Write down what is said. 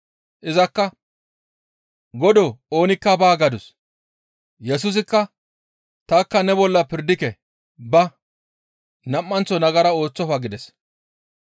Izakka, «Godoo oonikka baa» gadus. Yesusikka, «Tanikka ne bolla pirdike; ba! Nam7anththo nagara ooththofa» gides.